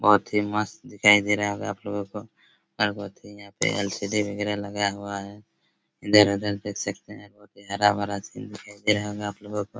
बहोत ही मस्त दिखाई दे रहा होगा आप लोगों आप लोगो को और बहोत ही यहाँ पे एल_सी_डी वगेरा लगा हुआ है इधर-उधर देख सकते है बहुत ही हरा-भरा सीन दिखाई दे रहा होगा आप लोगों को ।